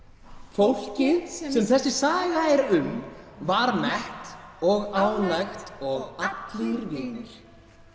fólkið sem sem þessi saga er um var mett og ánægt og allir vinir